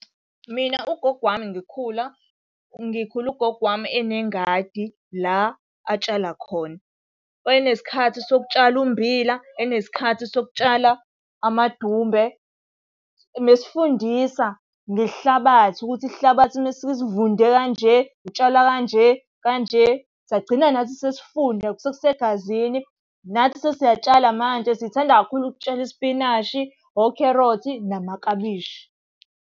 Mina ugogo wami ngikhula, ngikhule ugogo wami enengadi la atshala khona. Wayenesikhathi sokutshala ummbila, enesikhathi sokutshala amadumbe. Ubesifundisa ngesihlabathi ukuthi isihlabathi uma sisuke sivunde kanje, utshala kanje kanje. Sagcina nathi sesifunda sekusegazini, nathi sesiyatshala manje. Sithanda kakhulu ukutshala isipinashi, okherothi, namaklabishi.